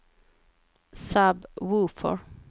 sub-woofer